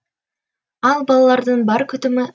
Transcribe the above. ал балалардың бар күтімі